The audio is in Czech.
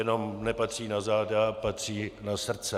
Jenom nepatří na záda, patří na srdce.